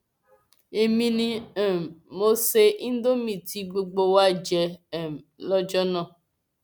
èmi ni um mo ṣe indonémi tí gbogbo wa jẹ um lọjọ náà